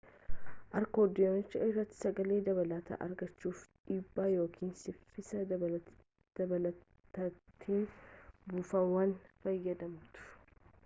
akoordiyoonicha irratti sagalee dabalataa argachuuf dhibbaa ykn saffisa dabalataatiin buufaawwan fayyadamtu